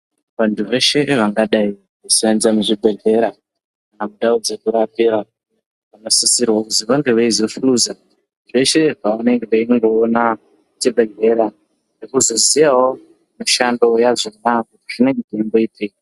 Vantu veshe vangadai veisenza muzvibhehleya nendau dzekurapira vanosisirwe kuzi vange veizohluza zveshe zvavanenge veingoona muchibhehlera nekuzoziyawo mishando yazvona kuti zvinenge zveimboitei.